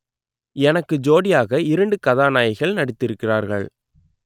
எனக்கு ஜோடியாக இரண்டு கதாநாயகிகள் நடித்திருக்கிறார்கள்